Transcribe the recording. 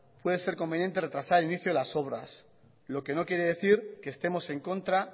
puede ser conveniente retrasar el inicio de las obras lo que no quiere decir que estemos en contra